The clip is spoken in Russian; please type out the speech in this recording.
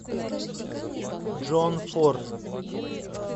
джон форд